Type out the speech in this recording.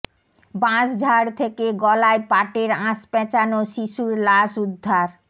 বাঁশঝাড় থেকে গলায় পাটের আঁশ পেঁচানো শিশুর লাশ উদ্ধার